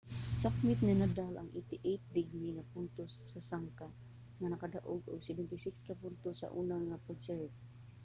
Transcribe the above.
nasakmit ni nadal ang 88% nga puntos sa sangka nga nakadaog og 76 ka puntos sa una nga pag-serve